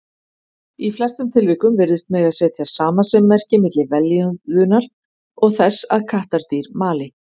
Í flestum tilvikum virðist mega setja samasemmerki milli vellíðunar og þess að kattardýr mali.